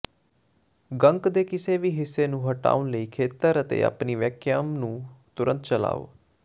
ਗੰਕ ਦੇ ਕਿਸੇ ਵੀ ਹਿੱਸੇ ਨੂੰ ਹਟਾਉਣ ਲਈ ਖੇਤਰ ਤੇ ਆਪਣੀ ਵੈਕਯਾਮ ਨੂੰ ਤੁਰੰਤ ਚਲਾਓ